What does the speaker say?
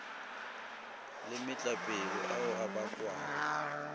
le metlapelo ao a bakwago